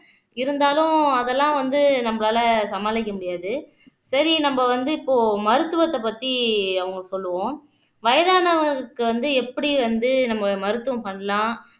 இருந்தாலும் அதெல்லாம் வந்து நம்மளால சமாளிக்க முடியாது சரி நம்ம வந்து இப்போ மருத்துவத்தை பத்தி அவங்க சொல்லுவோம் வயதானவங்களுக்கு வந்து எப்படி வந்து நம்ம மருத்துவம் பண்ணலாம்